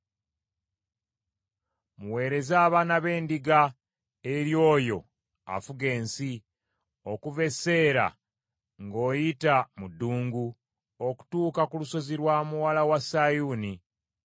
“Muweereze abaana b’endiga eri oyo afuga ensi, okuva e Seera, ng’oyita mu ddungu, okutuuka ku lusozi lwa Muwala wa Sayuuni.